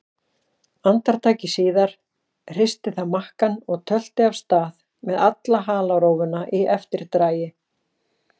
Andartaki síðar hristi það makkann og tölti af stað með alla halarófuna í eftirdragi.